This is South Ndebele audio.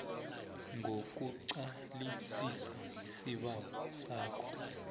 kokuqalisisa isibawo sakho